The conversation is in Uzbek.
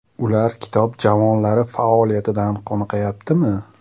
Ular kitob javonlari faoliyatidan qoniqayaptimi?